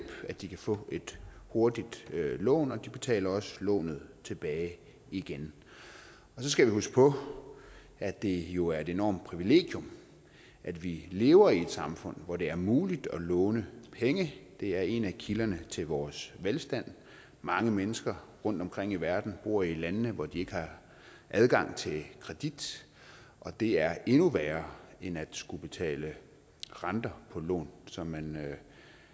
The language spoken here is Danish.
at de kan få et hurtigt lån og de betaler også lånet tilbage igen og så skal vi huske på at det jo er et enormt privilegium at vi lever i et samfund hvor det er muligt at låne penge det er en af kilderne til vores velstand mange mennesker rundtomkring i verden bor i lande hvor de ikke har adgang til kredit og det er endnu værre end at skulle betale renter på lån som man